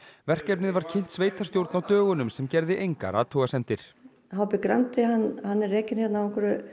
verkefnið var kynnt sveitarstjórn á dögunum sem gerði engar athugasemdir h b Grandi er rekinn á